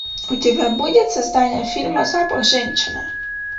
у тебя будет создание фильма запах женщины